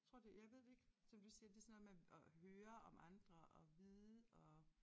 Tror det jeg ved det ikke som du siger det sådan noget med at at høre om andre og vide og